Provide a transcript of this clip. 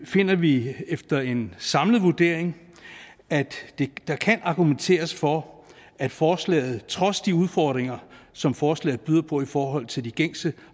finder vi efter en samlet vurdering at der kan argumenteres for at forslaget trods de udfordringer som forslaget byder på i forhold til de gængse